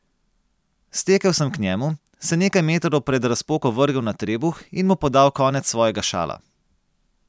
Stekel sem k njemu, se nekaj metrov pred razpoko vrgel na trebuh in mu podal konec svojega šala.